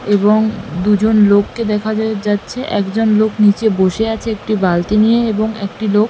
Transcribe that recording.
এবং উম দুজন লোককে দেখা যেহ যাচ্ছে একজন লোক নিচে বসে আছে একটি বালতি নিয়ে এবং একটি লোক--